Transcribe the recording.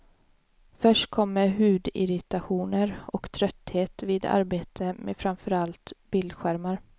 Först kommer hudirritationer och trötthet vid arbete med framför allt bildskärmar.